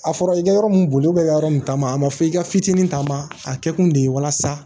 A fɔra i ka yɔrɔ min boli i ka yɔrɔ nin taama a ma fɔ i ka fitinin ta ma a kɛ kun de ye walasa